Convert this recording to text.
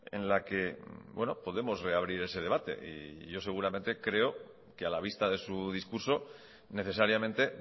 en la que bueno podemos reabrir ese debate y yo seguramente creo que a la vista de su discurso necesariamente